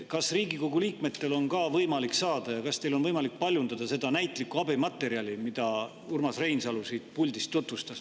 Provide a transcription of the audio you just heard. Kas Riigikogu liikmetel on võimalik saada ja kas teil on võimalik paljundada seda näitlikku abimaterjali, mida Urmas Reinsalu puldist tutvustas?